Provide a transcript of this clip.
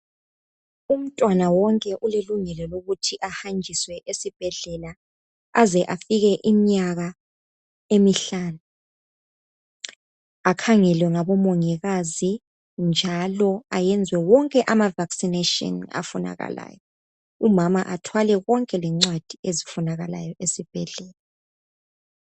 Umntwana wonke ulelungelo lokuthi ahanjiswe esibhedlela aze afike iminyaka emihlanu akhangelwe ngaboMongikazi njalo ayenzwe wonke amaVakisinashini afunakalayo. Umama athwale konke lengcwadi ezifunakalayo esibhedlela.